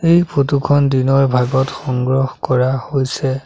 এই ফটো খন দিনৰ ভাগত সংগ্ৰহ কৰা হৈছে।